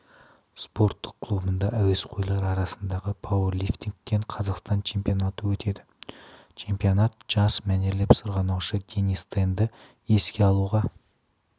спорттық клубында әуесқойлар арасындағы пауэрлифтингтен қазақстан чемпионаты өтеді чемпионат жас мәнерлеп сырғанаушы денис тенді еске алуға